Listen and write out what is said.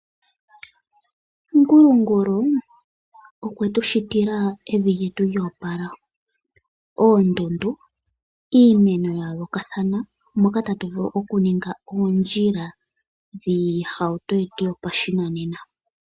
Ngulungulu okwetu shitila evi lyetu lyoopala, oondundu, iimeno yayoolokathana, moka tatu vulu okuninga oondjila, dhiihauto yetu yopashinanena.